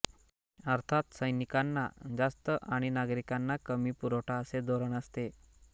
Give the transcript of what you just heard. अर्थात सैनिकांना जास्त आणि नागरिकांना कमी पुरवठा असे धोरण असते